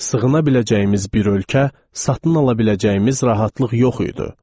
Sığına biləcəyimiz bir ölkə, satın ala biləcəyimiz rahatlıq yox idi.